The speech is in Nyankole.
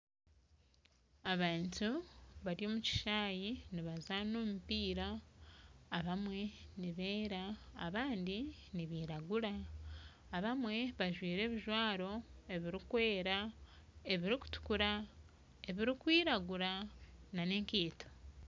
Abantu bari omu kishaayi nibazaana omumpiira abamwe nibeera abandi nibiraguura, abamwe bajwaire ebijwaro ebirikwera, ebirikutukuura, ebirikwiraguura na n'ekaito.